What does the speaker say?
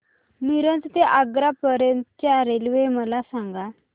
मिरज ते आग्रा पर्यंत च्या रेल्वे मला सांगा